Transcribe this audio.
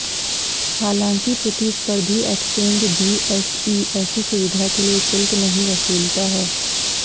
हालांकि प्रतिस्पर्धी exchange BSE ऐसी सुविधा के लिए शुल्क नहीं वसूलता है